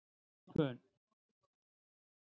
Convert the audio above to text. Skipum